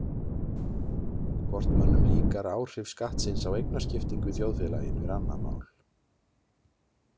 Hvort mönnum líkar áhrif skattsins á eignaskiptingu í þjóðfélaginu er annað mál.